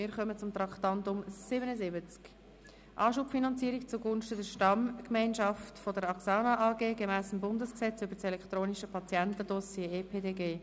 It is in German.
Wir kommen zum Traktandum 77, «Anschubfinanzierung zugunsten der Stammgemeinschaft der axsana AG gemäss dem Bundesgesetz über das elektronische Patientendossier (EPDG).